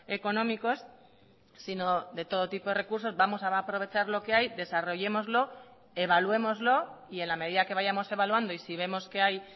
económicos sino de todo tipo de recursos vamos a aprovechar lo que hay desarrollémoslo evaluémoslo y en la medida que vayamos evaluando y si vemos que hay